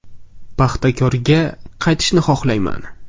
“Paxtakor”ga qaytishni xohlamayman”.